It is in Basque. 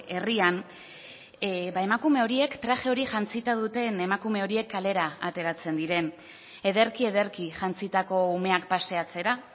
herrian emakume horiek traje hori jantzita duten emakume horiek kalera ateratzen diren ederki ederki jantzitako umeak paseatzera